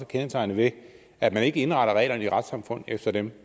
kendetegnet ved at man ikke indretter reglerne i retssamfundet efter dem